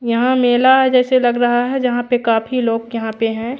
यहाँ मेला जैसे लग रहा है जहाँ पे काफी लोग यहाँ पे है।